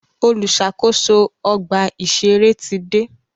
Olùṣàkóso ọgbà ìṣẹ̀rẹ́ ti dé.